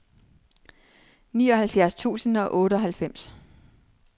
nioghalvfjerds tusind og otteoghalvfems